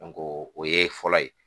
o ye fɔlɔ ye